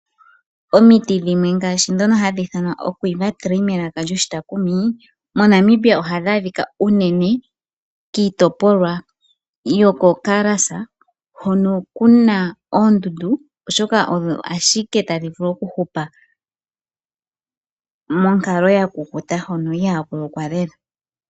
Omiti dhimwe ngaashi dhono hadhi ithanwa oQuiver tree melaka lyoshitaakumi, moNamibia ohadhi adhika unene kiitopolwa yo koKaras hono kuna oondundu oshoka odho ashike tadhi vulu oku hupa monkalo ya kukuta hono ihaa ku lokwa lela.